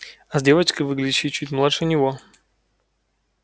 а с девочкой выглядящей чуть младше него